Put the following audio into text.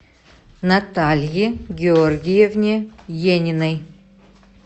наталье георгиевне ениной